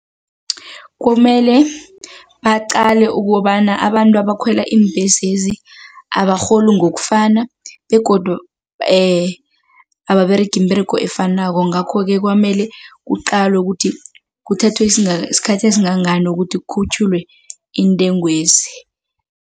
Kumele baqale ukobana abantu abakhwela iimbhesezi abarholi ngokufana begodu ababeregi iimberego efanako ngakho-ke kwamele kuqalwe ukuthi kuthathwe isikhathi esingangani kokuthi kukhutjhulwe iintengwezi.